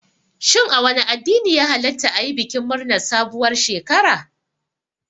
Shin a wane addini ne ya hallata ayi bikin murnar sabuwar shekara?